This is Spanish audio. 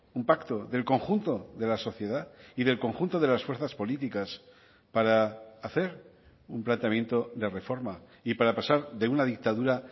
un pacto del conjunto de la sociedad y del conjunto de las fuerzas políticas para hacer un planteamiento de reforma y para pasar de una dictadura